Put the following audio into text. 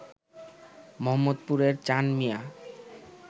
মোহাম্মদপুরের চাঁন মিয়া